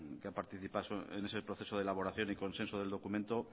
que participa en ese proceso de elaboración y consenso del documento